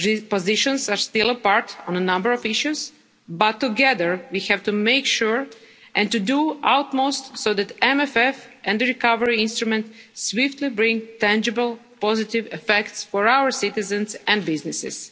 Positions are still apart on a number of issues, but together we have to make sure and do our utmost so that the MFF and the Recovery Instrument swiftly bring tangible positive effects for our citizens and businesses.